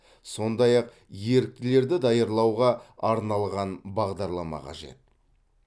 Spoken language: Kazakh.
сондай ақ еріктілерді даярлауға арналған бағдарлама қажет